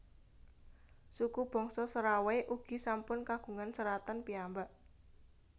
Suku bangsa Serawai ugi sampun kagungan seratan piyambak